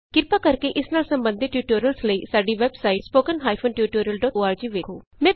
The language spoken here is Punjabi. ਕ੍ਰਿਪਾ ਕਰਕੇ ਇਸ ਨਾਲ ਸਬੰਧਤ ਟਯੂਟੋਰਿਅਲਜ਼ ਲਈ ਸਾਡੀ ਵੈਬਸਾਈਟ httpspoken tutorialorg ਵੇਖੋ